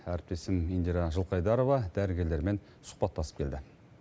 әріптесім индира жылқайдарова дәрігерлермен сұхбаттасып келді